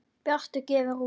Bjartur gefur út